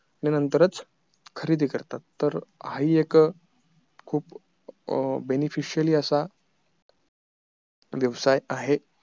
त्यांच्या नंतरच खरेदी करतात तर हा हि एक खूप benefitial असा व्यवसाय आहे